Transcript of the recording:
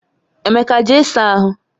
Emeka, jee saa ahụ!